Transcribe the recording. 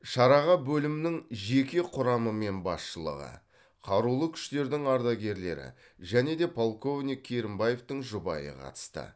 шараға бөлімнің жеке құрамы мен басшылығы қарулы күштердің ардагерлері және де полковник керімбаевтің жұбайы қатысты